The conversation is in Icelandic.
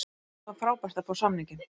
Það var frábært að fá samninginn.